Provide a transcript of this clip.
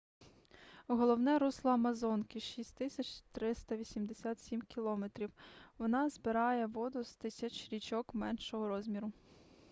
головне русло амазонки — 6,387 км 3,980 миль. вона збирає воду з тисяч річок меншого розміру